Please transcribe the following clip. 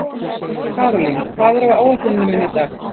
Karólín, hvað er á áætluninni minni í dag?